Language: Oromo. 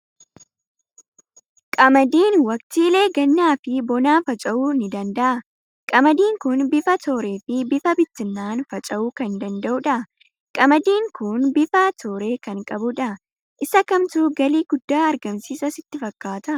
Qamadiin waqtiilee gannaa fi bonaa faca'uu ni danda'a. Qamadiin kun bifa tooree fi bifa bittinna'aan faca'uu kan danda'udha. Qamadiin kun bifa tooree kan qabudha. Isa kamtu galii guddaa argamsiisa sitti fakkaata?